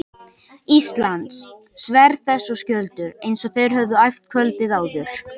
Íslands, sverð þess og skjöldur, eins og þeir höfðu æft kvöldið áður.